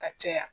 Ka caya